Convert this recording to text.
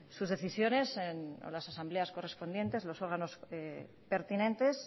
sus decisiones en las asambleas correspondientes los órganos pertinentes